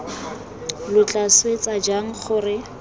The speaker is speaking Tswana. lo tla swetsa jang gore